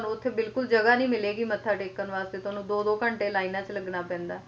ਤੁਹਾਨੂੰ ਉੱਥੇ ਬਿਲਕੁਲ ਜਗ੍ਹਾ ਨਹੀਂ ਮਿਲੇਗੀ ਮੱਥਾ ਟੇਕਣ ਵਾਸਤੇ ਤੁਹਾਨੂੰ ਦੋ ਦੋ ਘੰਟੇ ਲਾਈਨਾਂ ਵਿੱਚ ਲੱਗਣਾ ਪੈਂਦਾ